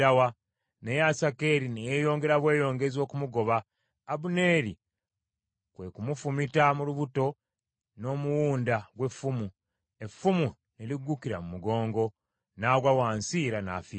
Naye Asakeri ne yeeyongera bweyongezi okumugoba; Abuneeri kwe kumufumita mu lubuto n’omuwunda gw’effumu, effumu ne liggukira mu mugongo, n’agwa wansi era n’afiirawo.